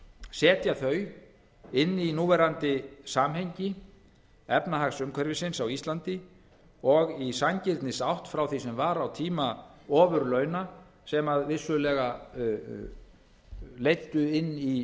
setja þau inn í núverandi samhengi efnahagsumhverfisins á íslandi og í sanngirnisátt frá því sem var á tíma ofurlauna sem vissulega leiddu inn í